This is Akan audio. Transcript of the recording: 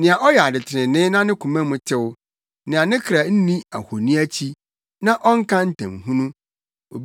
Nea ɔyɛ ade trenee na ne koma mu tew, nea ne kra nni ahoni akyi na ɔnka ntamhunu.